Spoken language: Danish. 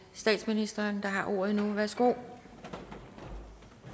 statsministeren der har ordet nu værsgo